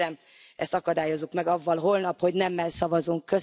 Tehát kérem, ezt akadályozzuk meg azzal holnap, hogy nemmel szavazunk.